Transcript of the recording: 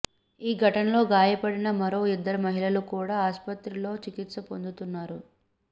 ఈ ఘటనలో గాయపడిన మరో ఇద్దరు మహిళలు కూడా ఆస్పత్రిలో చి కిత్స పొందుతున్నారు